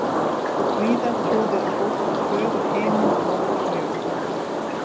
Víða trúði fólk á föður Himinn og móður Jörð.